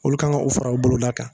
Olu kan ga o fara o boloda kan